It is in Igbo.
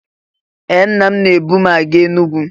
Ee! Nna m na-ebu m aga Enugwu.